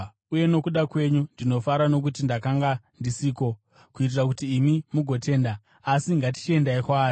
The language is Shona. uye nokuda kwenyu, ndinofara nokuti ndakanga ndisiko, kuitira kuti imi mugotenda. Asi ngatichiendai kwaari.”